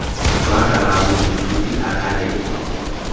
jwa karabo moithuti a thalele